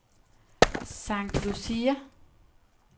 St. Lucia